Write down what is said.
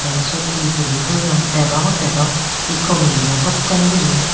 tey swot he tuli toyon degongotey dow he comolidow dokken guri.